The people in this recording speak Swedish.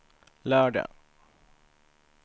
lördag